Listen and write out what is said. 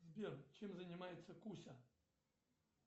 сбер чем занимается куся